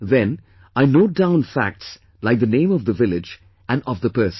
Then, I note down facts like the name of the village and of the person